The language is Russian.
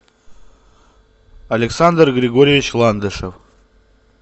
александр григорьевич ландышев